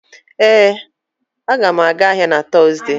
Ee, m ga-aga ahịa na Tọzdee